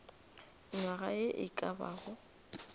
nywaga ye e ka bago